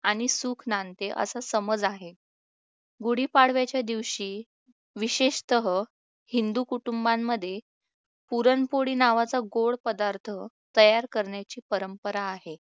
आणि सुख नांदते असे समज आहे गुढीपाडव्याच्या दिवशी विशेषतः हिंदू कुटुंबांमध्ये पुरणपोळी नावाचा गोड पदार्थ केला तयार करण्याची परंपरा आहे